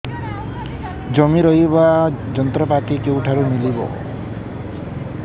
ଜମି ରୋଇବା ଯନ୍ତ୍ରପାତି କେଉଁଠାରୁ ମିଳିବ